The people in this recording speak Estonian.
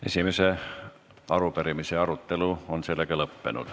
Esimese arupärimise arutelu on lõppenud.